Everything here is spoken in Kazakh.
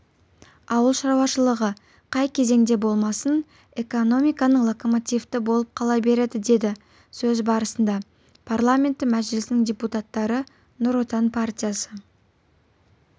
ауыл шаруашылығы қай кезеңде болмасын экономиканың локомотиві болып қала береді деді сөз барысында парламенті мәжілісінің депуттаты нұр отан партиясы